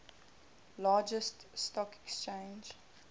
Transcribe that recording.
largest stock exchange